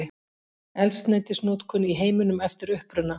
Eldsneytisnotkun í heiminum eftir uppruna.